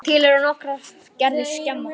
Til eru nokkrar gerðir skema.